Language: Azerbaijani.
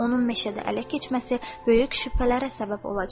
Onun meşədə ələ keçməsi böyük şübhələrə səbəb olacaqdı.